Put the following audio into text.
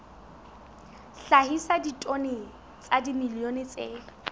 hlahisa ditone tsa dimilione tse